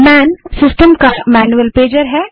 man system का manual pager है